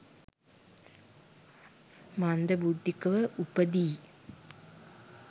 මන්දබුද්ධිකව උපදී.